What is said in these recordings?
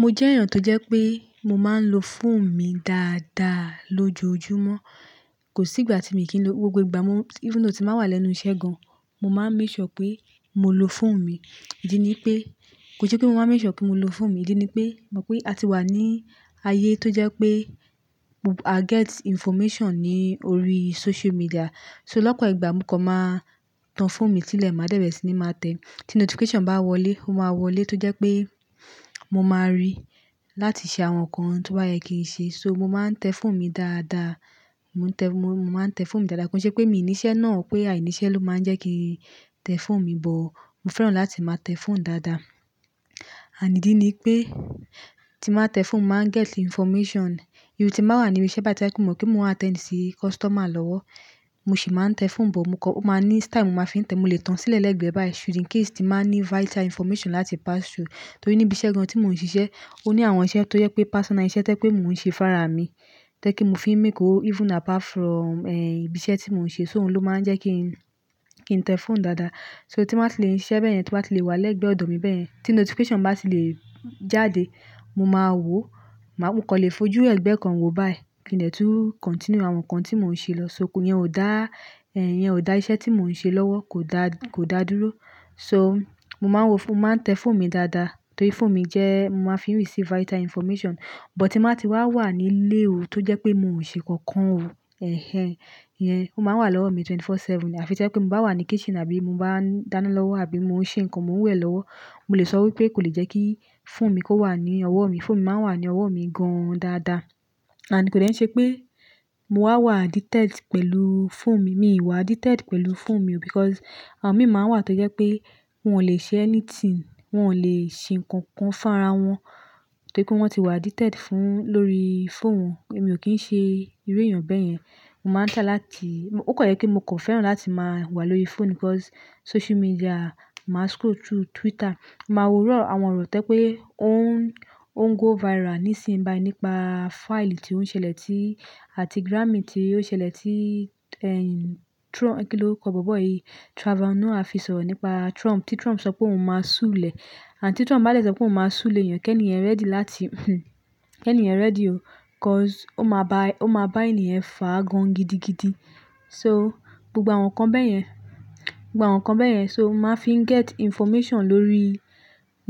Mo jẹ́ èèyàn tó jẹ́ pé mo máa ń lo fóònù mi dáadáa lójoojúmọ́. Kò sí ìgbà tí mi kì lo, gbogbo ìgbà even though tí màá wà lẹ́nu iṣẹ́ gan, mo máa ń make sure pé mo lo fóònù mi. Ídí ni pé, kò ṣe pé mo máa ń make sure pé mo lo fóònù mi, ìdí ni pé mọ̀ pé a ti wà ní ayé tó jẹ́ pé. Get information ní orí social media. So lọ́pọ̀ ìgbà mo kan máa tan fóònù mi sílẹ̀ máa dẹ̀ bẹ́ẹ̀re sí ní máa tẹ̀. Tí notification bá wọlé, ó máa wọlé tó jẹ́ pé mo máa rí láti ṣe àwọn nǹkan tí o ba ye kí n ṣe. So mo máa ń tẹ fóònù mi dáadáa, mo máa ń tẹ fóònù mi dáadáa. Kò ṣe pé mi nì iṣẹ́ náà pé à ní iṣẹ́ ló máa ń jẹ́ kí n tẹ fóònù mi, but mo fẹ́ràn láti máa tẹ fóònù dáadáa. À ní idí ni pé tí baa tẹ fóònù máa get information. Even tí màá wà níbi iṣẹ́ bá ti wá kú, mo mọ̀ pé mo máa tẹ́nì sí customer lọ́wọ́. Mo sì máa ń tẹ fóònù, sugbọ́n mo kọ máa ní style mo máa fi ń tẹ. Mo lè tan sílẹ̀ lẹ́gbẹ̀ẹ́ báyìí should in case tí màá ní vital information láti pass through. Torí níbi iṣẹ́ kan tí mò ń ṣiṣẹ́, ó ní àwọn iṣẹ́ tó jẹ́ pé personal iṣẹ́ tẹ́ pé mò ń ṣe fára mi, tẹ́ kí mo fi ń pa ówó yàtọ̀ si eh ìbí iṣẹ́ tí mò ń ṣe. So òun ló máa ń jẹ́ kí n tẹ fóònù dáadáa. Nitori naa, tí màá ṣe lè ń ṣiṣẹ́ bẹ́ẹ̀ yẹn, tí màá ṣe lè wà lẹ́gbẹ̀ẹ́ ọ̀dọ̀ mi bẹ́ẹ̀ yẹn, tí notification bá ti lè jáde, mo máa wò ó, mo máa kọ́lé fojú lẹ́gbẹ̀ẹ́ kan wo báyìí kí n lè tú continue àwọn nǹkan tí mò ń ṣe lọ́. Nitori íyẹn ò dá, ẹ́ yẹn ò dá iṣẹ́ tí mò ń ṣe lọ́wọ́, kò dá kò dá dúró. Nitori naa, mo máa ń wo, mo máa ń tẹ fóònù mi dáadáa torí fóònù mi jẹ́ mo máa fi ń gbà àwọn iwifùn tó se pàtàkì Sugbọ́n tí màá ti wá wà nílé o tó jẹ́ pé mò ń ṣe kankan o, ẹ́hẹ́n, ìyẹn ó máa wà lọ́wọ́ mi wákàtí mẹ́rìnlélógún, ọjọ́ méje. Àfi tí ẹ pé mo bá wà ní kitchen àbí mo bá dáná lọ́wọ́ àbí mò ń ṣe nǹkan, mò ń wẹ̀ lọ́wọ́, mo lè sọ wípé kò lè jẹ́ kí fóònù mi kó wà ní ọwọ́ mi. Fóònù mi máa ń wà ní ọwọ́ mi gan dáadáa. Àní kò dẹ́ n ṣe pé mo wá wà afésida pẹ̀lú fóònù mi. Mi ò wà addicted pẹ̀lú fóònù mi o nitori àwọn mìíràn wà tó jẹ́ pé wọ́n ò lè ṣe anything, wọ́n ò lè ṣe nǹkan kan fára wọn torí pé wọ́n ti wà addicted fún lórí fóònù wọn. Èmi ò kí ń ṣe irú èèyàn bẹ́ẹ̀ yẹn. Mo máa ń tà láti-- ó kọ̀ jẹ́ kí mo kò fẹ́ràn láti máa wà lórí fóònù nitori social media, màá scroll through Twitter, màá wo àwọn ọ̀rọ̀ tẹ́ pé ó ń go viral nísinsìnyí nípa file tí ó ń ṣẹlẹ̀ ti àti grammy tí ó ṣẹlẹ̀ ti eh Trump, kí ló kọ gbọ́gbọ́ yìí? Trvaor Noah ọ̀nà fi sọ nípa Trump, tí Trump sọ pé òun máa súẹ̀ é. Tí Trump bá lè sọ pé òun máa súẹ̀, èèyàn kẹ́ni yẹn gbaradi láti kẹ́ni yẹn gbaradi o nitori ó máa bá ènìyàn fà gan gidigidi. Nitori naa, gbogbo àwọn nǹkan bẹ́ẹ̀ yẹn, gbogbo àwọn nǹkan bẹ́ẹ̀ yẹn. So màá fi ń get information lórí,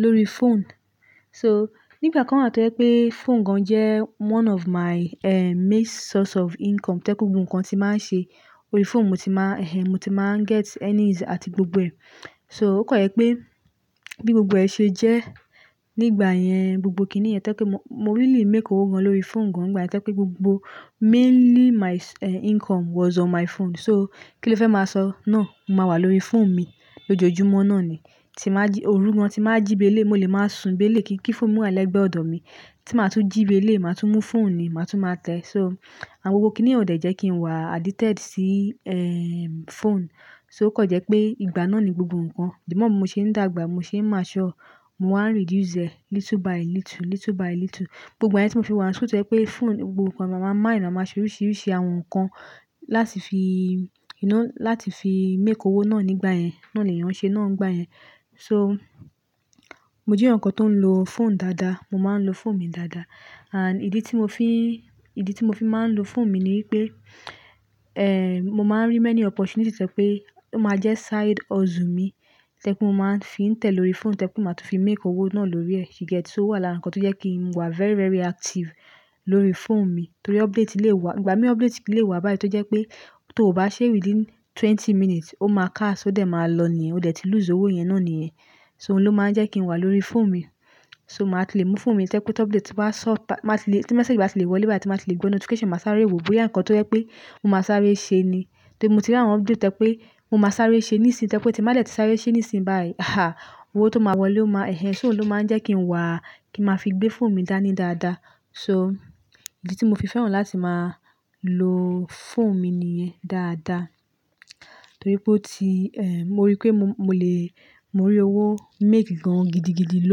lórí fóònù. Nitori nígbà kan wà tó jẹ́ pé fóònù gan jẹ́ nkàn eyọ̀kan ti o màa n pa ówó wa fun mi gan, tó je pé gbogbo nǹkan tí màá ṣe, orí fóònù mo ti máa eh mo ti máa ń ri gbogbo ẹ̀. Nitori ó kọ̀ jẹ́ pé bí gbogbo ẹ ṣe jẹ́ nígbà yẹn, gbogbo kíni yẹn tẹ́ pé mo pa owó gan lórí fóònù gan. Ìgbà yẹn tẹ́ pé gbogbo ówó mi ti mo n pa ju, óri foonu mi ni. Nitori naa, kí ló fẹ́ máa sọ? No, mo máa wà lórí fóònù mi lójoojúmọ́ náà ni. Tí màá jí, òru gan tí màá jíbé lé, mo lè máa sùn bé lé kí fóònù mú wà lẹ́gbẹ̀ẹ́ ọ̀dọ̀ mi. Tí màá tún jíbé lé, màá tún mú fóònù ni, màá tún máa tẹ. Nitori àwon gbogbo kíni ò dẹ́jẹ́ kí n wà afésida sí eh fóònù. Nitori ó kọ̀ jẹ́ pé ìgbà náà ni gbogbo nǹkan. Bi mo ṣe ń dàgbà, mo ṣe ń dàgbà, mo máa diku diẹ diẹ, diẹ diẹ. Gbogbo igbà yẹ̀n tí mo fi wà, so tó jẹ́ pé fóònù gbogbo nǹkan, à màá máa yanra, màá ṣe oríṣìíríṣìí àwọn nǹkan láti fi you know láti fi pa owó náà nígbà yẹn. Náà ni èèyàn ṣe náà nígbà yẹn. So mo jẹ́ èèyàn kan tó ń lo fóònù dáadáa. Mo máa ń lo fóònù mi dáadáa. Àti pé, ìdí tí mo fi, ìdí tí mo fi máa ń lo fóònù mi ni pé eh mo máa ń rí ọ̀pọ̀lọ̀pọ̀ ànfàani tẹ́ pé ó máa jẹ́ side hustle mi, tẹ́ kí mo máa ń fi ń tẹ̀ lórí fóònù, tẹ́ kí màá tún fi pa owó náà lórí ẹ́, you get? Nitori ó wà lára nǹkan tó jẹ́ kí n wà very, very active lórí fóònù mi torí update lè wá. Ìgbà mí update lè wá báyìí tó jẹ́ pé tó ò bá ṣe larin iséju twenty minutes, ó máa kà, ó dẹ̀ máa lọ ní èèyàn, o dẹ̀ ti lose owó yẹn náà ní èèyàn. So òun ló máa ń jẹ́ kí n wà lórí fóònù mi. Nitori naa, màá tì lè mú fóònù mi tẹ́ kí update bá sọ, bá ti lè, tí message bá ti lè wọlé báyìí, tí màá ti lè gbọ́ notification, màá sáré wò bóyá nǹkan tó jẹ́ pé mo máa sáré ṣe ni. Torí mo ti rí àwọn update tẹ́ pé mo máa sáré ṣe nísinsìnyí tẹ́ pé tí màá dẹ̀ tí sáré ṣe nísinsìnyí báyìí, àí, owó tó máa wọlé ó máa-- ẹ̀hẹ́n. So òun ló máa ń jẹ́ kí n wà, kí màá fi gbé fóònù mi dání dáadáa. Nitori naa, ìdí tí mo fi fẹ́ràn láti máa lo fóònù mi ni yẹn dáadáa torí pé ó ti eh mo rí pé mo lè, mo rí owó pa gan gidigidi ló.